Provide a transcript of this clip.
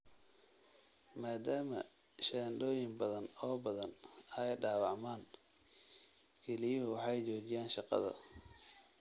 Maaddaama shaandhooyin badan oo badan ay dhaawacmaan, kelyuhu waxay joojiyaan shaqada.